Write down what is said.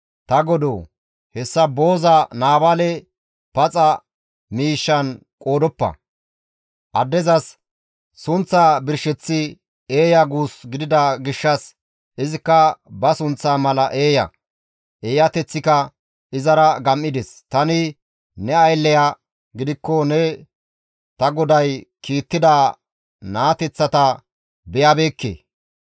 Ta godoo! Hessa booza Naabaale paxa miishshan qoodoppa! Addezas sunththaa birsheththi eeya guus gidida gishshas izikka ba sunththaa mala eeya! Eeyateththika izara gam7ides. Tani ne aylleya gidikko ne ta goday kiittida naateththata beyabeekke.